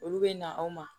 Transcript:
Olu bɛ na aw ma